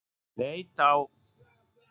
Leit á